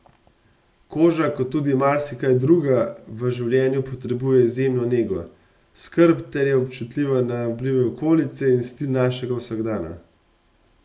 Koža kot tudi marsikaj druga v življenju potrebuje izjemno nego, skrb ter je občutljiva na vplive okolice in stil našega vsakdana.